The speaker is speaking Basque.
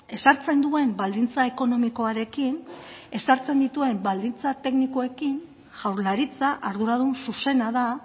ezartzen duen baldintza ekonomikoarekin ezartzen dituen baldintza teknikoekin jaurlaritza arduradun zuzena da